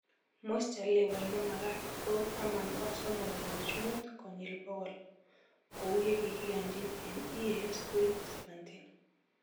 Moisture level ne makat ko taman ak somok kenuch muut kenyil bokol kou ye kikiyonjiin eng EAS 2017